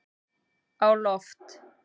á loft